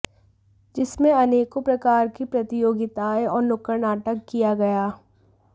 जिसमें अनेकों प्रकार की प्रतियोगिताएं और नुक्कड़ नाटक किया गया